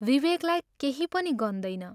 विवेकलाई केही पनि गन्दैन।